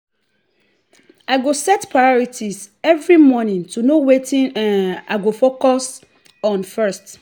i go set priorities every morning to know wetin um i go focus on first.